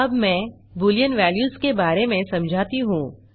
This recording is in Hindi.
अब मैं बूलियन वेल्यूज के बारे में समझाता हूँ